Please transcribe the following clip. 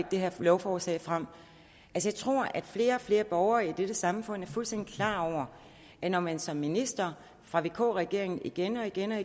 det her lovforslag frem jeg tror at flere og flere borgere i dette samfund er fuldstændig klar over at når man som minister fra vk regeringen igen og igen og